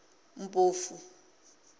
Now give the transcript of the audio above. mpofu